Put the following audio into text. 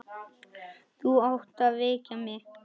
Þú átt að vekja mig.